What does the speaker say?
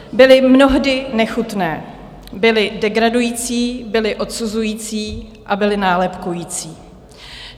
Byly mnohdy nechutné, byly degradující, byly odsuzující a byly nálepkující.